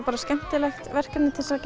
bara skemmtilegt verkefni til að